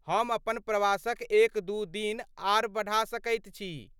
हम अपन प्रवासक एक दू दिन आर बढ़ा सकैत छी।